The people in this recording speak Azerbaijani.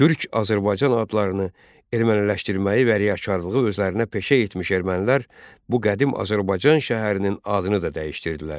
Türk Azərbaycan adlarını erməniləşdirməyi və riyakarlığı özlərinə peşə etmiş ermənilər bu qədim Azərbaycan şəhərinin adını da dəyişdirdilər.